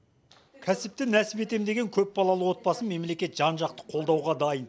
кәсіпті нәсіп етемін деген көпбалалы отбасын мемлекет жан жақты қолдауға дайын